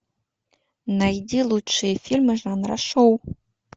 найди лучшие фильмы жанра шоу